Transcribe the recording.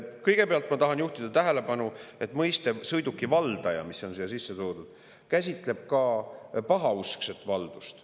Kõigepealt ma tahan juhtida tähelepanu, et mõiste "sõiduki valdaja", mis on siia sisse toodud, käsitleb ka pahauskset valdust.